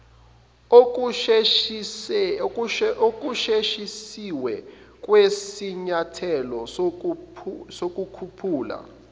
okusheshisiwe kwesinyathelo sokukhuphula